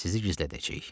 Sizi gizlədəcəyik.